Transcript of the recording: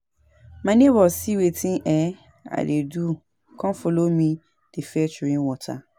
My neighbor see wetin um I dey do come follow me dey fetch rain water